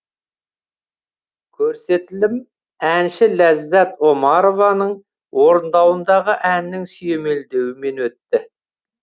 көрсетілім әнші ляззат омарованың орындауындағы әннің сүйемелдеуімен өтті